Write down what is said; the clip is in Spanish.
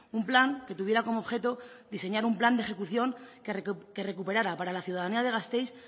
un plan que tuviera como objeto diseñar un plan de ejecución que recuperara para la ciudadanía de gasteiz